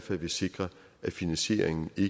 vil sikre at finansieringen i